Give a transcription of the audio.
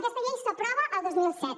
aquesta llei s’aprova el dos mil set